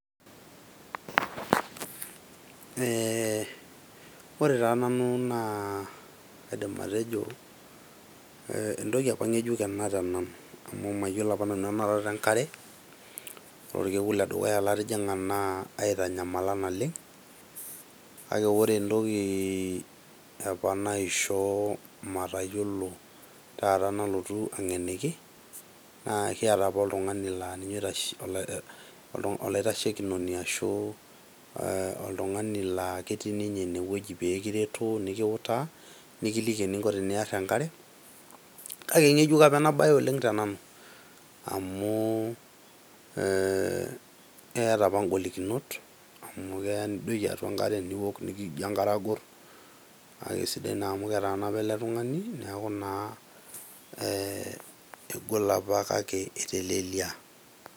Ee ore taata nanu kaidim atejo entoki apa ngejuk ena tenanu amu mayiolo apa nanu enarata enkare, ore okekun obo latijinga naa aitanyamala naleng. Kake ore entoki apa naishoo matayiolo nalotu angeniki naa ekiata apa oltungani laa ninye olaitashekinoni ashu oltungani laa ketii ninye ine wueji pee kiretu nikiutaa , nikiliki eninko teniar enkare .Kake ingejuk apa ena ingejuk apa ena bae tenanu amu keeta apa ngolikinot amu keya nidoiki atua enkare niok , nikijo enkare agor , naa kisidai naa amu ketaana apa ele tungani amu kegol apa kake eteleliaa.